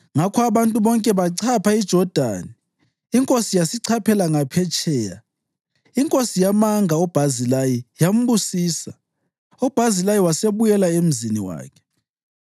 Ngakho abantu bonke bachapha iJodani, inkosi yasichaphela ngaphetsheya. Inkosi yamanga uBhazilayi yambusisa, uBhazilayi wasebuyela emzini wakhe.